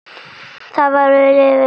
Hvað viljið þið!